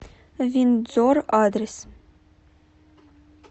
виндзор адрес